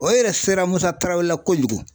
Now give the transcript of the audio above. O yɛrɛ sera Musa Tarawele la kojugu.